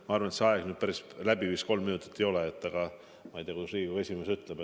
Ma arvan, et vastamise aeg, kolm minutit, päris läbi vist ei ole, aga ma ei tea, kuidas Riigikogu esimees ütleb.